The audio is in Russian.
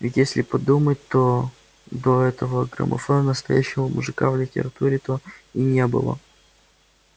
ведь если подумать то до этого грамофона настоящего мужика в литературе то и не было